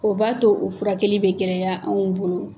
O b'a to u furakɛli bɛ gɛlɛya anw bolo.